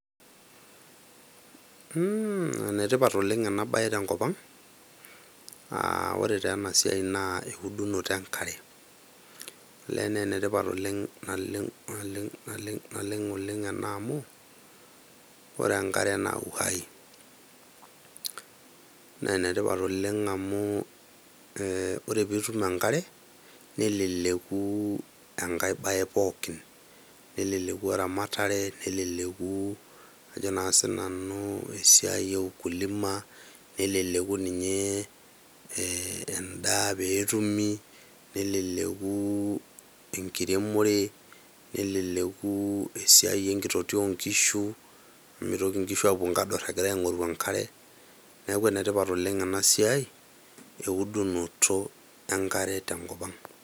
Mhh ,ene tipata taa ena siai tenkopang , aa ore taa ena siai naa eudunoto enkare . Olee naa ene tipat naleng, naleng, naleng oleng ena amu ore enkare naa uhai. Naa ene tipat amu ee ore pitum enkare, neleleku enkae bae pookin ,neleleku eramatare, neleleku naa ajo sinanu esiai e ukulima, neleleku ninye endaa peetumi, neleleku enkiremore , neleleku esiai enkitotio oonkishu , mitoki nkishu apuo nkador apuo aingoru enkare , niaku ene tipat oleng ena siai eudunoto enkare tenkop ang.